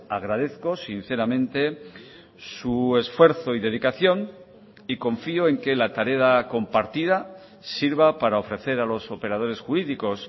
agradezco sinceramente su esfuerzo y dedicación y confío en que la tarea compartida sirva para ofrecer a los operadores jurídicos